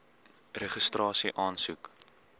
registrasieaansoek